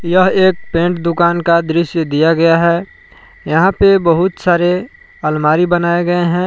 यह एक पेंट दुकान का दृश्य दिया गया है यहां पे बहुत सारे अलमारी बनाए गए हैं।